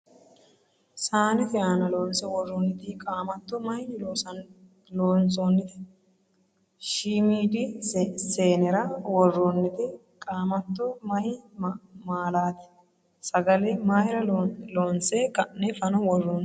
Saanete aana loonse worrinniti qaamatto mayinni loonsoonnite ? Shiimiidi saanera worroonnite qaamatto maayi maalaati ? Sagale mayra loonse ka'ne fano worroonni ?